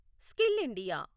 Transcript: skill India